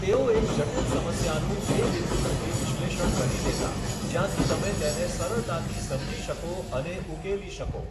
તેઓ એક જટિલ સમસ્યાને એ બિંદુ સુધી વિશ્લેષણ કરી દેતા જ્યાંથી તમે તેને સરળતાથી સમજી શકો અને ઉકેલી શકો.